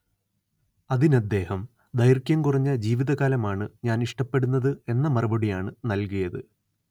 അതിനദ്ദേഹം ദൈർഘ്യം കുറഞ്ഞ ജീവിതകാലമാണ്‌ ഞാൻ ഇഷ്ടപ്പെടുന്നത് എന്ന മറുപടിയാണ് നൽകിയത്